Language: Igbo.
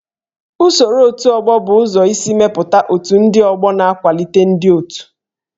Usoro otù ọgbọ bụ ụzọ isi mepụta otù ndị ọgbọ na ịkwalite ịdị n'otu